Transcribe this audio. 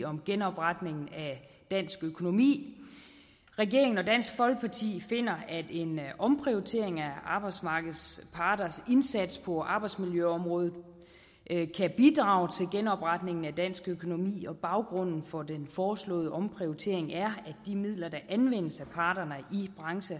om genopretningen af dansk økonomi regeringen og dansk folkeparti finder at en omprioritering af arbejdsmarkedets parters indsats på arbejdsmiljøområdet kan bidrage til genopretningen af dansk økonomi baggrunden for den foreslåede omprioritering er at de midler der anvendes af parterne i